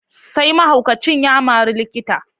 Sai mahaukacin ya mari likitan.